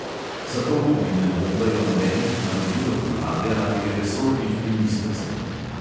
Zato tudi ne dobivajo nobenih navodil od vlade ali resornih ministrstev.